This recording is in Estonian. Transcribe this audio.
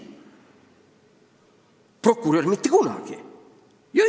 Aga prokurör ei tule mitte kunagi!